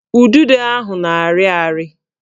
Udido ahụ na-arị ari